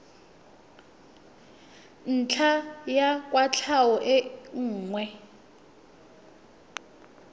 ntlha ya kwatlhao e nngwe